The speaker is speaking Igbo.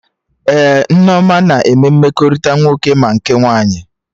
Ee, Nneoma na eme mmekọrịta nwoke ma nke nwaanyị